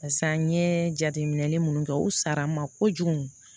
Pasa n ye jateminɛli mun kɛ u sara ma kojugu